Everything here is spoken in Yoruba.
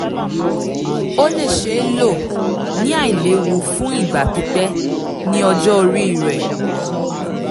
o le ṣee lo ni ailewu fun igba pipẹ ni ọjọ ori rẹ